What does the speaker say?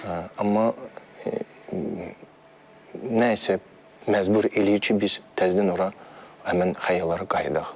Amma nəsə məcbur eləyir ki, biz təzədən ora həmin xəyallara qayıdaq.